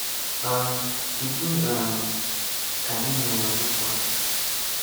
um Kedụ um ka Ị mere nụtụtụ a?